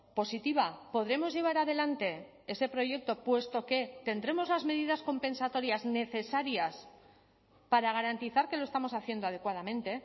positiva podremos llevar adelante ese proyecto puesto que tendremos las medidas compensatorias necesarias para garantizar que lo estamos haciendo adecuadamente